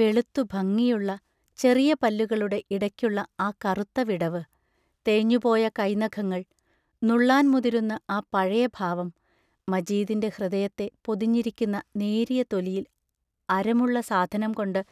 വെളുത്തു ഭംഗിയുള്ള ചെറിയ പല്ലുകളുടെ ഇടയ്ക്കുള്ള ആ കറുത്ത വിടവ്, തേഞ്ഞുപോയ കൈനഖങ്ങൾ, നുള്ളാൻ മുതിരുന്ന ആ പഴയ ഭാവം മജീദിൻറ ഹൃദയത്തെ പൊതിഞ്ഞിരിക്കുന്ന നേരിയ തൊലിയിൽ അരമുള്ള സാധനം കൊണ്ടു